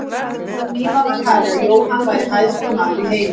Um tíma var talið að Jóhann væri hæsti maður í heimi.